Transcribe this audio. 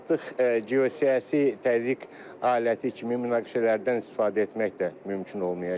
Artıq geosiyasi təzyiq aləti kimi münaqişələrdən istifadə etmək də mümkün olmayacaq.